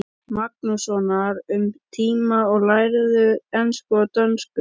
Magnússonar um tíma og lærðu ensku og dönsku.